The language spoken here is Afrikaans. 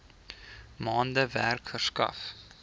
maande werk verskaf